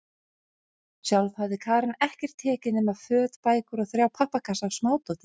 Sjálf hafði Karen ekkert tekið nema föt, bækur og þrjá pappakassa af smádóti.